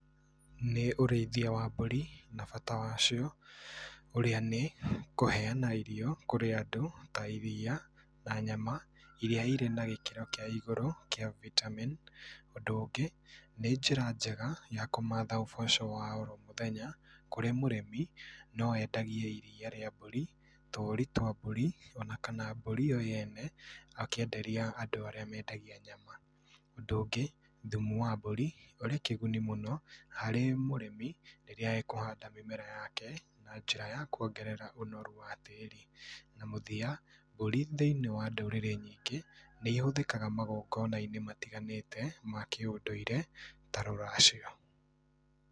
Nĩ ũrĩithia wa mbũri na bata wacio ũria nĩ kũheana irio kũrĩ andũ ta iria na nyama iria irĩ na gĩkĩro kĩ igũrũ kĩa vitamin. Ũndũ ũngĩ nĩ njĩra njega ya kũmatha uboco wa omũthenya kũrĩ mũrĩmi, no endagie iria rĩa mbũri, tũũri twa mbũri ona kana mbũri yo yene akĩenderia andũ arĩa mendagia nyama. Ũndũ ũngĩ, thumu wa mbũri ũrĩ kĩguni mũno harĩ mũrĩmi hĩndĩ ĩrĩa ekũhanda mĩmera yake na njĩra ya kuongerera ũnoru wa tĩĩri. Na mũthia mbũri thĩinĩ wa ndũrĩrĩ nyingĩ nĩihũthĩkaga thĩinĩ wa magongona matiganĩte ma kĩũndũire ta rũracio.